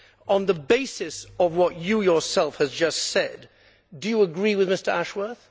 On the basis of what you yourself have just said, do you agree with Mr Ashworth?